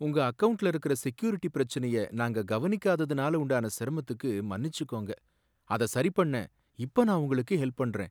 உங்க அக்கவுண்ட்ல இருக்குற செக்யூரிட்டி பிரச்சனைய நாங்க கவனிக்காததனால உண்டான சிரமத்துக்கு மன்னிச்சுக்கோங்க. அத சரிபண்ண இப்ப நான் உங்களுக்கு ஹெல்ப் பண்றேன்.